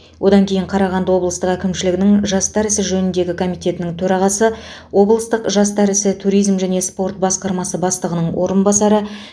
одан кейін қарағанды облыстық әкімшілігінің жастар ісі жөніндегі комитетінің төрағасы облыстық жастар ісі туризм және спорт басқармасы бастығының орынбасары